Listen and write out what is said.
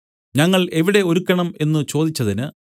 ഞങ്ങൾ എവിടെ ഒരുക്കണം എന്നു അവർ ചോദിച്ചതിന്